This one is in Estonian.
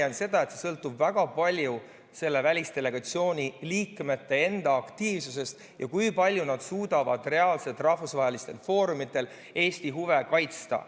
Mina leian, et see sõltub väga palju selle välisdelegatsiooni liikmete enda aktiivsusest ja sellest, kui palju nad suudavad reaalselt rahvusvahelistel foorumitel Eesti huve kaitsta.